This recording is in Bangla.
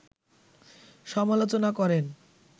সমালোচনা করেন